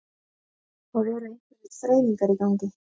Það eru einhverjar þreifingar í gangi